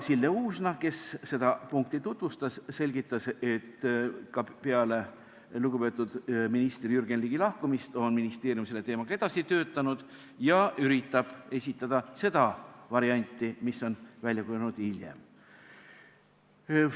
Sille Uusna, kes seda punkti tutvustas, selgitas, et ka peale lugupeetud minister Jürgen Ligi lahkumist on ministeerium selle teemaga edasi töötanud ja üritab esitada seda varianti, mis on välja kujunenud hiljem.